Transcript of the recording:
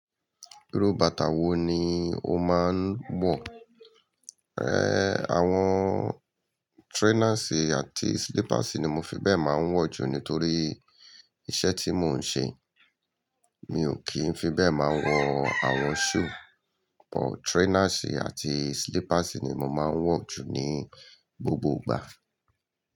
Irú bàtà wo ni o máa ń wọ̀? Ẹẹ̀, àwọn trainers àti slippers ni mo fi bẹ́ẹ̀ máa ń wọ̀ jù nítorí iṣẹ́ tí mò ń ṣe. Mi ò kí ń fi bẹ́ẹ̀ máa wọ àwọn shoes, but trainers àti slippers ni mo máa ń wọ̀ jù ní gbogbo ìgbà.